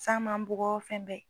San m'an bugɔ fɛn bɛɛ.